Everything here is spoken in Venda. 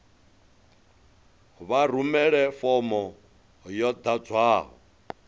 vha rumele fomo yo ḓadzwaho